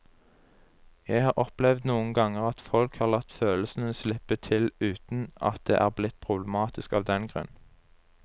Jeg har opplevd noen ganger at folk har latt følelsene slippe til uten at det er blitt problematisk av den grunn.